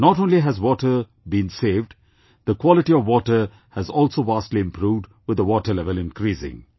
Not only has water been saved, the quality of water has also vastly improved with the water level increasing